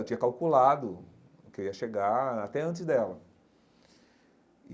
Eu tinha calculado que eu ia chegar até antes dela e.